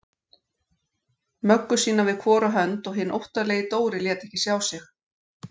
Möggu sína við hvora hönd og hinn óttalegi Dóri lét ekki sjá sig.